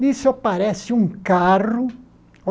Nisso aparece um carro.